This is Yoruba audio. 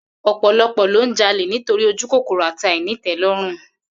Ò̩pò̩lo̩pò̩̩ ló ń jalè nítorí ojúkòkòrò àti àìní-ìté̩ló̩rùn